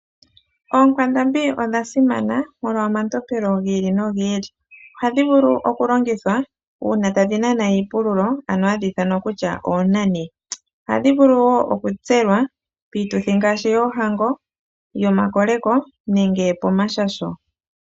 Oonkwandambi odha simana molwa omatompelo gi ili nogi ili. Ohadhi vulu okulongithwa uuna tadhi nana iipululo ano hadhi ithanwa kutya oonani. Ohadhi vulu wo okutselwa piituthi ngaashi yoohango, yomakoleko nenge pomashasho.